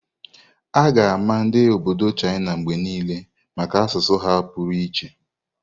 A ga-ama ndi obodo China mgbe niile maka asụsụ ha pụrụ iche.